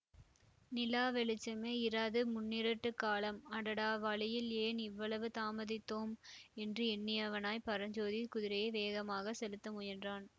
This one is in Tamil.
நிலா வெளிச்சமே இராது முன்னிருட்டுக் காலம் அடடா வழியில் ஏன் இவ்வளவு தாமதித்தோம் என்று எண்ணியவனாய் பரஞ்சோதி குதிரையை வேகமாக செலுத்த முயன்றான்